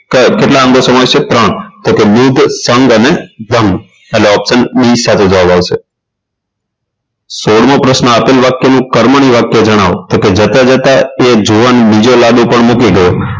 કેટલા અંગો સમાવિષ્ટ છે તો ત્રણ બુદ્ધ સંગ અને જંગ એટલે option b સાથે જવાબ આવશે સોળમો પ્રશ્ન આપેલ વાક્યનું કર્મણી વાક્ય જણાવો જતા જતા એ જુવાન બીજો લાડુ પણ મૂકી ગયો